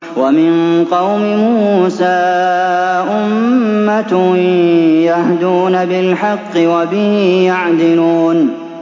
وَمِن قَوْمِ مُوسَىٰ أُمَّةٌ يَهْدُونَ بِالْحَقِّ وَبِهِ يَعْدِلُونَ